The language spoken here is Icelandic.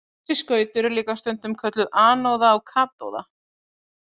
Þessi skaut eru líka stundum kölluð anóða og katóða.